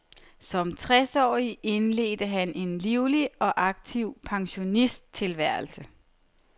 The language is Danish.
Som tres årig indledte han en livlig og aktiv pensionisttilværelse.